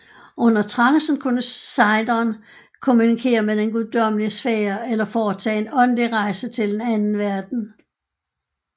Under trancen kunne sejderen kommunikere med den guddommelige sfære eller foretage en åndelig rejse til en anden verden